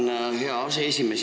Tänan, hea aseesimees!